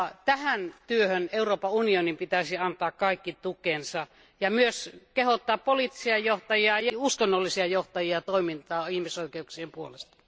Tähän työhön Euroopan unionin pitäisi antaa kaiken tukensa ja myös kehottaa poliittisia ja uskonnollisia johtajia toimintaan ihmisoikeuksien puolesta